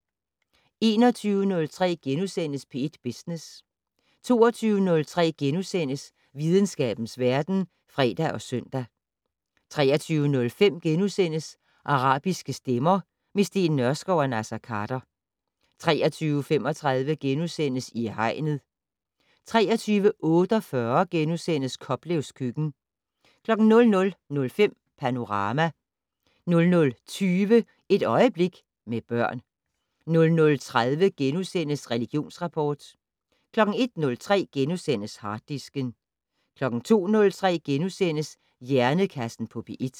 21:03: P1 Business * 22:03: Videnskabens verden *(fre og søn) 23:05: Arabiske stemmer - med Steen Nørskov og Naser Khader * 23:35: I Hegnet * 23:48: Koplevs køkken * 00:05: Panorama 00:20: Et øjeblik med børn 00:30: Religionsrapport * 01:03: Harddisken * 02:03: Hjernekassen på P1 *